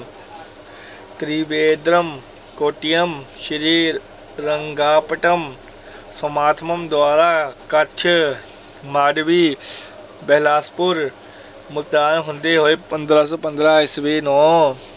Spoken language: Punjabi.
ਤ੍ਰਿਵੇਂਦਰਮ, ਕੋਟੀਯਮ, ਸ੍ਰੀ ਰੰਗਾਪਟਮ ਦੁਆਰਾ, ਕੱਛ, ਮਾਂਡਵੀ ਬਹਿਲਾਸਪੁਰ, ਮੁਲਤਾਨ ਹੁੰਦੇ ਹੋਏ, ਪੰਦਰਾਂ ਸੌ ਪੰਦਰਾਂ ਈਸਵੀ ਨੂੰ